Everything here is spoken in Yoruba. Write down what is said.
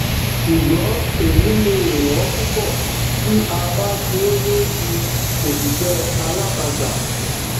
ṣùgbọn èyí le è wọn púpọ tí a bá ṣe ní ti òṣìṣẹ alátagbà